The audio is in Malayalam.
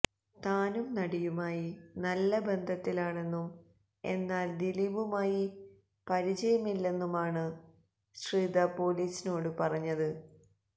താനും നടിയുമായി നല്ല ബന്ധത്തിലാണെന്നും എന്നാല് ദിലീപുമായി പരിചയമില്ലെന്നുമാണു ശ്രിത പൊലീസിനോടു പറഞ്ഞത്